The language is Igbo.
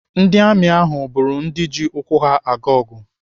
Ndị amị ahụ bụrụ ndị ji ụkwụ ha aga ọgụ.